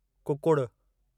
कुकुड़ु